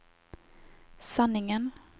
sanningen